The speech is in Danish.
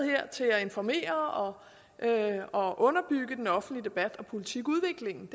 her til at informere og underbygge den offentlige debat og politikudviklingen